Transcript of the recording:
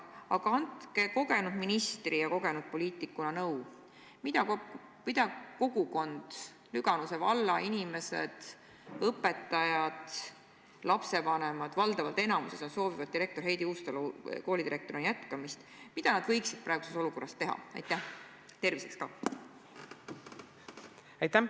Aga andke kogenud ministri ja kogenud poliitikuna nõu, mida kogukond, Lüganuse valla inimesed, õpetajad, lapsevanemad – valdavas osas nad soovivad direktor Heidi Uustalu koolidirektorina jätkamist – võiksid praeguses olukorras teha?